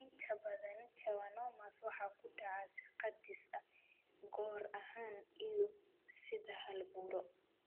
Inta badan schwannomas waxay ku dhacaan si kadis ah (goor ahaan) iyo sida hal buro.